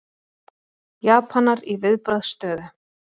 Japanar í viðbragðsstöðu